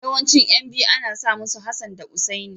Yawancin ƴan biyu ana sa musu Hassan da Hussaini.